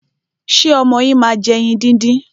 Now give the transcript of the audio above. Ṣé ọmọ yín máa ń jẹ ẹyin díndín?